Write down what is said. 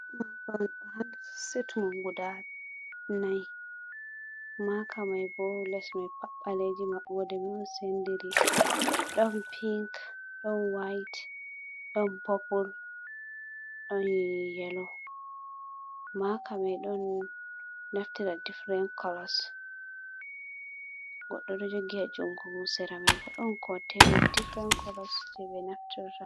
Set on ɗuga nai. maka mai bo lesmai pat ɓbaleji maɓboɗe mai senɗiri. Ɗon pink, ɗon whaite, ɗon popol ɗon yelo. Maka mai ɗon naftira diffiren kolos. Goɗɗo ɗo jogi ha jungumon. Sera mai bo ɗon waɗi kontenin diffiren kolos je be nafrita.